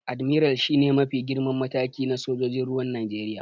Admiral shi ne mafi girman mataki na sojojin ruwan Najeriya.